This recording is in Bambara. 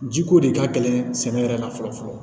Ji ko de ka gɛlɛn sɛnɛ yɛrɛ kan fɔlɔ fɔlɔ